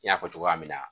N y'a fɔ cogoya min na